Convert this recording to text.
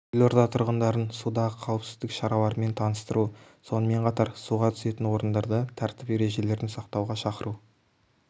елорда тұрғындарын судағы қауіпсіздік шараларымен таныстыру сонымен қатар суға түсетін орындарда тәртіп ережелерін сақтауға шақыру